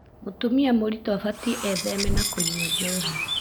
Mũtumia mũritũ abatie etheme na kũnywa njohi.